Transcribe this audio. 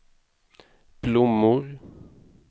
blommor